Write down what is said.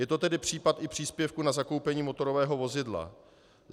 Je to tedy případ i příspěvku na zakoupení motorového vozidla.